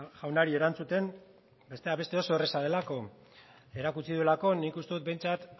jaunari erantzuten besteak beste oso erraza delako erakutsi duelako nik uste dut behintzat